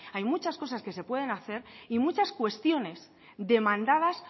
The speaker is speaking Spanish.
hay muchas cosas que se pueden hacer y muchas cuestiones demandadas